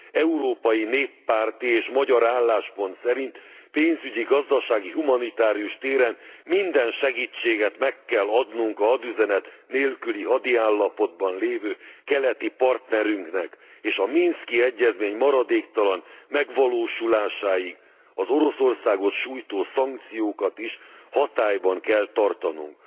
Európai néppárti és magyar álláspont szerint pénzügyi, gazdasági, humanitárius téren minden segítséget meg kell adnunk a hadüzenet nélküli hadiállapotban lévő keleti partnerünknek, és a minszki egyezmény maradéktalan megvalósulásáig az Oroszországot sújtó szankciókat is hatályban kell tartanunk.